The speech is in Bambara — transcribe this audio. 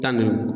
Tan ni